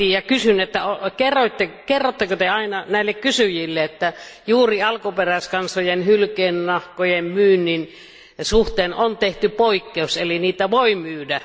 Kysyn, että kerrotteko Te aina näille kysyjille, että juuri alkuperäiskansojen hylkeennahkojen myynnin suhteen on tehty poikkeus, eli niitä voi myydä?